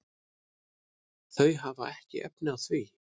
Þau hafa ekki efni á því.